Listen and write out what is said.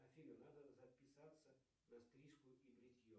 афина надо записаться на стрижку и бритье